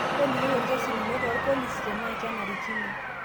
Tolikioi orkesi lino toorpolisi tenaa kenarikino.